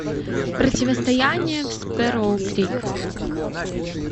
противостояние в спэрроу крик